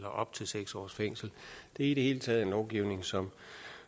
op til seks års fængsel det er i det hele taget en lovgivning som